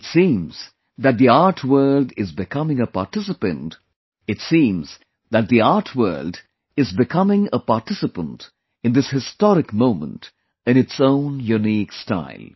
It seems that the art world is becoming a participant in this historic moment in its own unique style